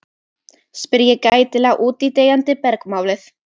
spyr ég gætilega út í deyjandi bergmálið.